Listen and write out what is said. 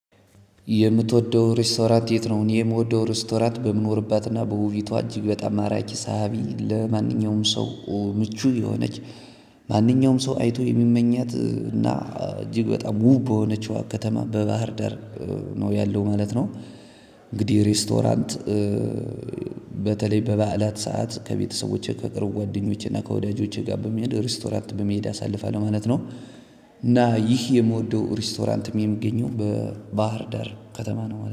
የምትወደው ሬስቶራት የት ነው? የምወደው ሬስቶራት በምኖርባትና በውቢቷ እጅግ በጣም ማራኪ ሳቢ ለማንኛውም ሰው ምቹ የሆነች ማንኛውም ሰው አይቶ የሚመኛት እና እጅግ በጣም ውብ በሆነችው ከተማ በባህር ደር ነው ያለው ማለት ነው። እንግዲህ ሬስቶራንት በተለይ በበዓላት ሰዓት ከቤተሰቦቼ ከቅርብ ጓደኞቼ እና ከወዳጆቼ ጋር በመሄድ ሪስቶራንት በመሄድ አሳልፋለሁ ማለት ነው። እና ይህ የምወደው ሬስቶራንትም የሚገኘው በባህር ዳር ከተማ ነው